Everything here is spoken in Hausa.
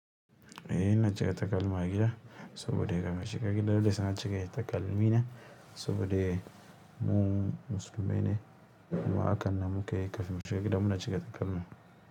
Eh na cika takalma gida, saboda kafin mu shiga gida dai sai na cire takalmi ne, saboda mu musulmai ne. Kuma akan nan muka yi kafin mu shiga gida mun cire takalma.